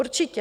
Určitě.